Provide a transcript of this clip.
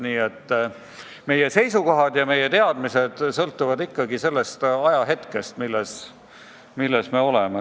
Nii et meie seisukohad sõltuvad ikkagi sellest ajahetkest, kus me oleme.